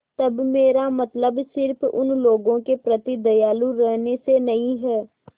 तब मेरा मतलब सिर्फ़ उन लोगों के प्रति दयालु रहने से नहीं है